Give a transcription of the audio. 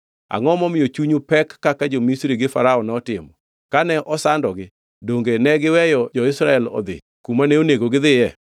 Angʼo momiyo chunyu pek kaka jo-Misri gi Farao notimo? Kane osandogi, donge negiweyo jo-Israel odhi kuma ne onego gidhiye?